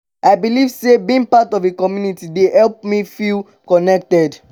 i believe say being part of a community dey help me me feel connected.